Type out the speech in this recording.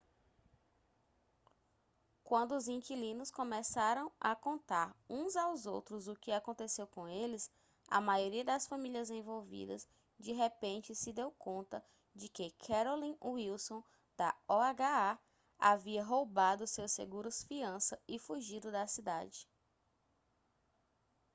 quando os inquilinos começaram a contar uns aos outros o que aconteceu com eles a maioria das famílias envolvidas de repente se deu conta de que carolyn wilson da oha havia roubado seus seguros-fiança e fugido da cidade